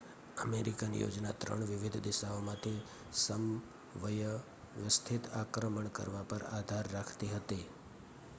American યોજના ત્રણ વિવિધ દિશાઓમાંથી સમવ્યવસ્થિત આક્રમણ કરવા પર આધાર રાખતી હતી